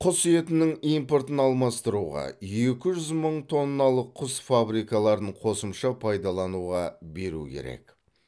құс етінің импортын алмастыруға екі жүз мың тонналық құс фабрикаларын қосымша пайдалануға беру керек